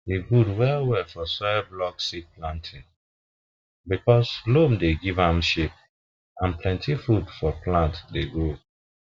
e good well well for soil block seed planting because loam dey give am shape and plenty food for plant to grow